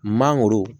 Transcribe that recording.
Mangoro